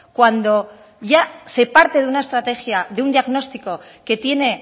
cuando ya se parte de una estrategia de un diagnóstico que tiene